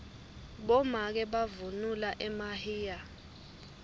bomake bavunula emahinya